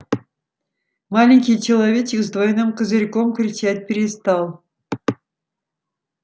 маленький человечек с двойным козырьком кричать перестал